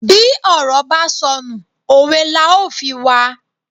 Bí ọ̀rọ̀ ba sọnù, òwe la ó fi wa.